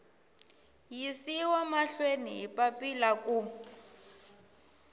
yisiwa mahlweni hi papila ku